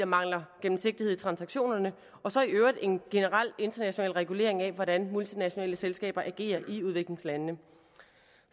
mangler gennemsigtighed i transaktionerne og så i øvrigt en generel international regulering af hvordan multinationale selskaber agerer i udviklingslandene